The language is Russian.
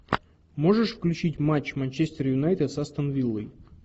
можешь включить матч манчестер юнайтед с астон виллой